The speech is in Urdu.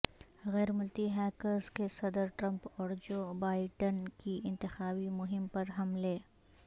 غیرملکی ہیکرز کے صدر ٹرمپ اور جو بائیڈن کی انتخابی مہم پر حملے